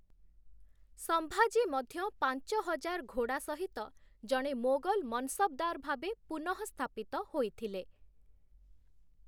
ସମ୍ଭାଜୀ ମଧ୍ୟ ପାଞ୍ଚ ହଜାର ଘୋଡ଼ା ସହିତ ଜଣେ ମୋଗଲ ମନସବ୍‌ଦାର ଭାବେ ପୁନଃସ୍ଥାପିତ ହୋଇଥିଲେ ।